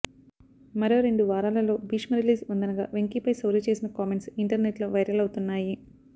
మరో రెండు వారాలలో భీష్మ రిలీజ్ వుందనగా వెంకీపై శౌర్య చేసిన కామెంట్స్ ఇంటర్నెట్లో వైరల్ అవుతున్నాయి